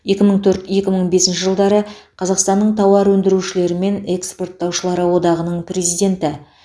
екі мың төрт екі мың бесінші жылдары қазақстанның тауар өндірушілері мен экспорттаушылары одағының президенті